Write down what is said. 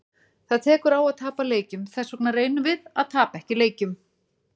Það tekur á að tapa leikjum, þessvegna reynum við að tapa ekki leikjum.